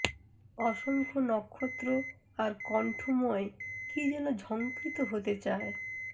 অসংখ্য নক্ষত্র আর কণ্ঠময় কী যেন ঝংকৃত হতে চায়